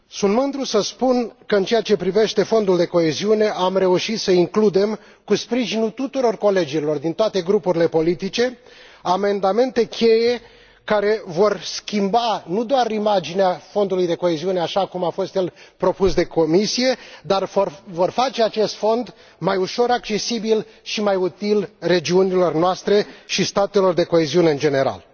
Sunt mândru să spun că, în ceea ce privește Fondul de coeziune, am reușit să includem, cu sprijinul tuturor colegilor din toate grupurile politice, amendamente cheie care vor schimba nu doar imaginea Fondului de coeziune, așa cum a fost el propus de Comisie, dar vor face acest fond mai ușor accesibil și mai util regiunilor noastre și statelor de coeziune în general.